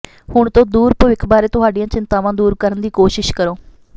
ਹੁਣ ਤੋਂ ਦੂਰ ਭਵਿੱਖ ਬਾਰੇ ਤੁਹਾਡੀਆਂ ਚਿੰਤਾਵਾਂ ਦੂਰ ਕਰਨ ਦੀ ਕੋਸ਼ਿਸ਼ ਕਰੋ